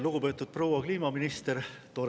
Lugupeetud proua kliimaminister!